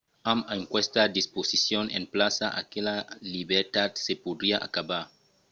amb aquesta disposicion en plaça aquela libertat se podriá acabar